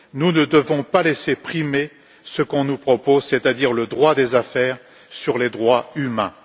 Nous ne devons pas laisser primer ce qu'on nous propose, c'est à dire le droit des affaires sur les droits humains.